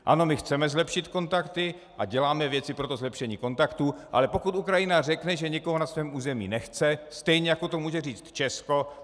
Ano, my chceme zlepšit kontakty a děláme věci pro to zlepšení kontaktů, ale pokud Ukrajina řekne, že někoho na svém území nechce, stejně jako to může říct Česko.